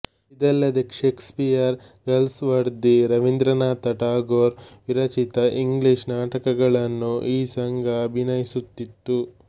ಇದಲ್ಲದೆ Shakespeare Galsworthy Rabindranath Tagore ವಿರಚಿತ English ನಾಟಕಗಳನ್ನು ಈ ಸಂಘ ಅಭಿನಯಿಸುತ್ತಿತ್ತು